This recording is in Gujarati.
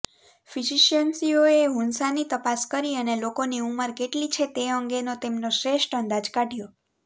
ફિઝિશ્યન્સીઓએ હુન્ઝાની તપાસ કરી અને લોકોની ઉંમર કેટલી છે તે અંગેનો તેમનો શ્રેષ્ઠ અંદાજ કાઢ્યો